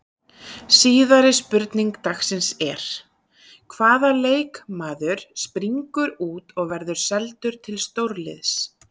Síðari spurning dagsins er: Hvaða leikmaður springur út og verður seldur til stórliðs?